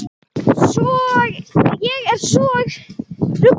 Ég er svo rugluð.